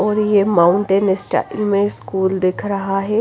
और ये mountain style में स्कूल दिख रहा है।